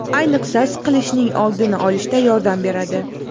Ayniqsa, siqilishning oldini olishda yordam beradi.